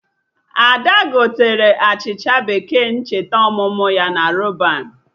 Ada gotere achịcha bekee ncheta ọmụmụ ya na Rọban